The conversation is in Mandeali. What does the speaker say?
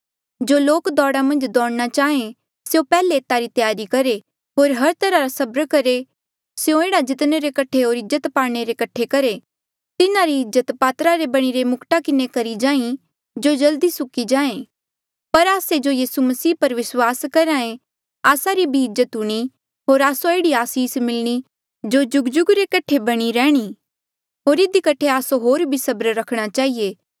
जो लोक दौड़ मन्झ दौड़ना चाहें स्यों पैहले एता री त्यारी करहे होर हर तरहा रा सबर करहा ऐें स्यों एह्ड़ा जीतणे रे कठे होर इज्जत पाणे रे कठे करहे तिन्हारी इज्जत पातरा रे बणिरे मुक्टा किन्हें करी जाहीं जो जल्दी सुक्की जाहें पर आस्से जो यीसू मसीह मन्झ विस्वास करहे आस्सा री भी इज्जत हूणीं होर आस्सो एह्ड़ी आसीस मिलणी जो जुगजुग रे कठे बणी रैहणी होर इधी कठे आस्सो होर भी सबर रखणा चहिए